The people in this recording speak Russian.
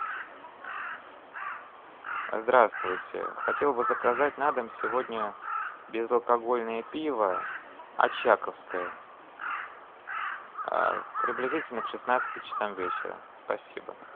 здравствуйте хотел бы заказать на дом сегодня безалкогольное пиво очаковское приблизительно к шестнадцати часам вечера спасибо